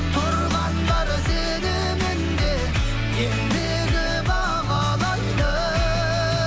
тұрғандар сеніміне ендігі бағлайды